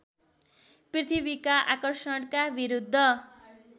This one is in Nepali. पृथ्वीका आकर्षणका विरुद्ध